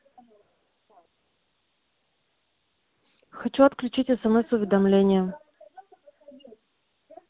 хочу отключить смс-уведомления